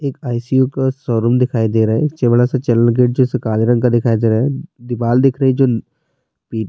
ایک ای.سی.یو کا شوروم دکھائی دے رہا ہے۔ کالے رنگ کا دکھائی دے رہا ہے۔ دیوال دیکھ رہی ہے۔ جو--